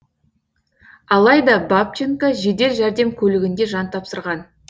алайда бабченко жедел жәрдем көлігінде жан тапсырған